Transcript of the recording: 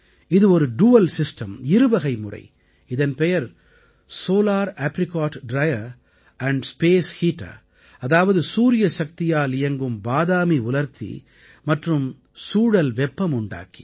இது ஒரு டுயல் systemஇருவகை முறை இதன் பெயர் solar apricot dryer and space heater அதாவது சூரிய சக்தியால் இயங்கும் பாதாமி உலர்த்தி மற்றும் சூழல் வெப்பமுண்டாக்கி